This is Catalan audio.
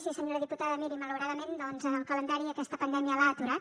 sí senyora diputada miri malauradament doncs el calendari aquesta pandèmia l’ha aturat